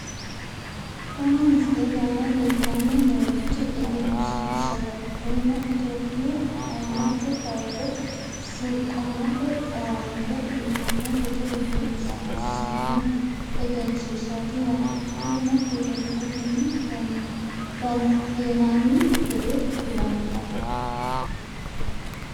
Kuni misilete aana leellanni noorichi egenshiishshaho kunino itiyopiyu ayiimmate kaarde sukkuumate owaante uyiitano gede egensiissino egenshiishshaati yaate. kunino telebirretenni dandiinanni gede kulanno.